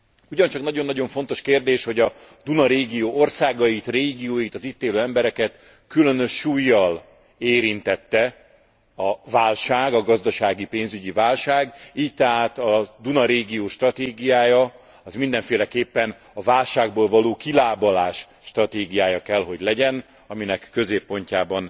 Ugyancsak nagyon nagyon fontos kérdés, hogy a Duna régió országait, régióit, az itt élő embereket különös súllyal érintette a válság, a gazdasági, pénzügyi válság, így tehát a Duna régió stratégiája a válságból való kilábalás stratégiája kell, hogy legyen, aminek középpontjában